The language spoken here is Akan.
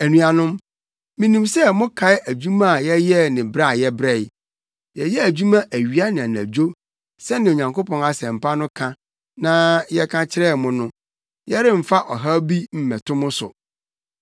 Anuanom, minim sɛ mokae adwuma a yɛyɛɛ ne brɛ a yɛbrɛe. Yɛyɛɛ adwuma awia ne anadwo; sɛnea Onyankopɔn Asɛmpa no ka na yɛka kyerɛɛ mo no, yɛremfa ɔhaw bi mmɛto mo so.